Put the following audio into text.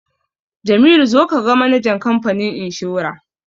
Jamilu zo ka ga manajan kamfanin inshora!